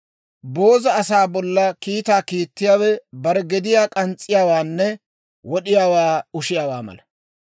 Booza asaa bolla kiitaa kiittiyaawe bare gediyaa k'ans's'iyaawaanne wod'iyaawaa ushiyaawaa mala.